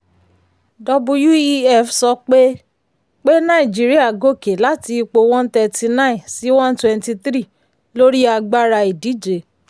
wef sọ pé pé nàìjíríà gòkè láti ipò one thirty nine sí one twenty three lórí agbára ìdíje.